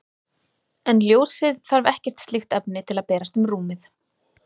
En ljósið þarf ekkert slíkt efni til að berast um rúmið.